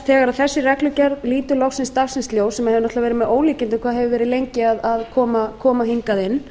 þegar þessi reglugerð lítur loksins dagsins ljós sem er með ólíkindum hve lengi hefur verið á leiðinni hingað inn